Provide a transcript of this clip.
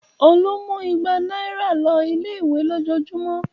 Olú máa ń mú igba náírà lọ ilé-ìwé lójoojúmọ́.